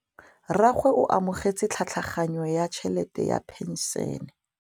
Rragwe o amogetse tlhatlhaganyô ya tšhelête ya phenšene.